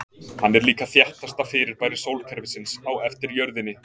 hann er líka þéttasta fyrirbæri sólkerfisins á eftir jörðinni